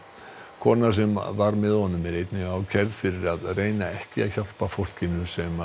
kona sem var með honum er einnig ákærð fyrir að reyna ekki að hjálpa fólkinu sem